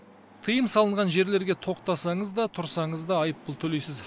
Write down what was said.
тыйым салынған жерлерге тоқтасаңыз да тұрсаңыз да айыппұл төлейсіз